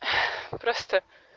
просто